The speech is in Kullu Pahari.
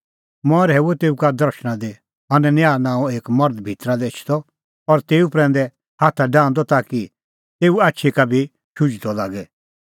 मंऐं रहैऊअ तेऊ का दर्शणा दी हनन्याह नांओं एक मर्ध भितरा लै एछदअ और तेऊ प्रैंदै हाथा डाहंदअ ताकि तेऊए आछी का भी शुझदअ लागे